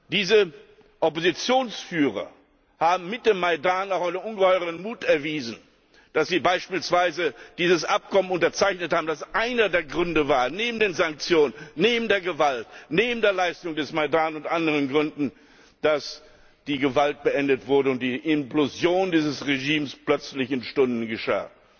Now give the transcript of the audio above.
Diese Oppositionsführer des Maidan haben auch ungeheuren Mut bewiesen, als sie beispielsweise dieses Abkommen unterzeichnet haben, das einer der Gründe war neben den Sanktionen, neben der Gewalt, neben der Leistung des Maidan und anderen Gründen, dass die Gewalt beendet wurde und die Implosion dieses Regimes plötzlich in Stunden geschah.